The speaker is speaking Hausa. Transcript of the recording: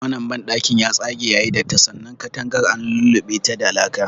Kwanon banɗakin ya tsage yayi datti sannan katangar an lullubeta da laka.